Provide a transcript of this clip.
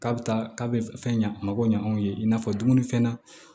K'a bɛ taa k'a bɛ fɛn ɲa a ma ko ɲa anw ye i n'a fɔ dumunifɛn na